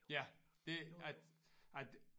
Ja det at at